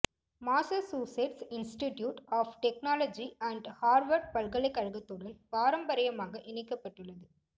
Massachusetts Institute of Technology and Harvard பல்கலைக்கழகத்துடன் பாரம்பரியமாக இணைக்கப்பட்டுள்ளது